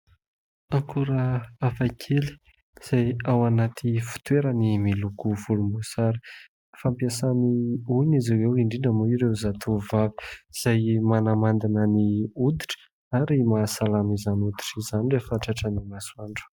Akora hafakely izay ao anaty fitoerany miloko volom-boasary. Fampiasan'ny olona izy ireo indrindra moa ireo zatovo vavy izay manamandina ny oditra ary mahasalama izany oditra izany rehefa tratran'ny masoandro.